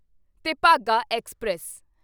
Tebhaga express